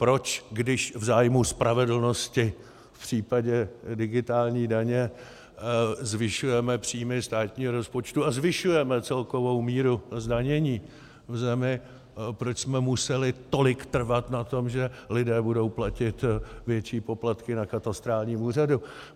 Proč, když v zájmu spravedlnosti v případě digitální daně zvyšujeme příjmy státního rozpočtu a zvyšujeme celkovou míru zdanění v zemi, proč jsme museli tolik trvat na tom, že lidé budou platit větší poplatky na katastrálním úřadu?